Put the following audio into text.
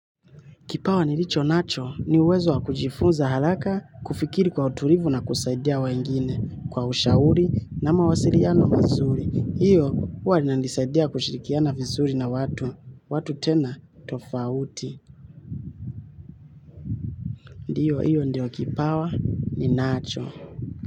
Kipawa nilicho nacho ni uwezo wa kujifunza haraka kufikiri kwa utulivu na kusaidia wengine kwa ushauri na mawasiliano mazuri. Hiyo huwa linanisaidia kushirikiana vizuri na watu. Watu tena tofauti. Ndiyo hiyo ndio kipawa ninacho.